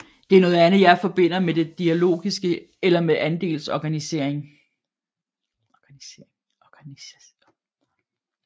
Det er noget jeg forbinder med det dialogiske eller med andelsorganisering